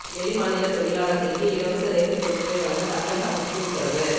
வெளி மாநில தொழிலாளர்களுக்கு இலவச ரேசன் பொருட்களை வழங்க தமிழக அரசுக்கு உத்தரவு